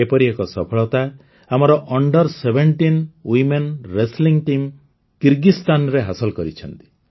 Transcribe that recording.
ଏପରି ଏକ ସଫଳତା ଆମର under seventeen women wrestling team କିର୍ଗିସ୍ତାନରେ ହାସଲ କରିଛନ୍ତି